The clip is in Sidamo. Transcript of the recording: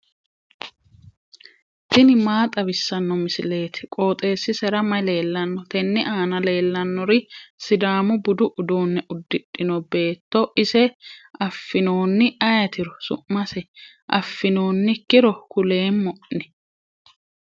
tini maa xawissanno misileeti? qooxeessisera may leellanno? tenne aana leellannori sidaamu budu uduunne uddidhino beettooti. ise affinoonni ayeetiro su'mase? affinoonnikkiro kuleemmo'ne.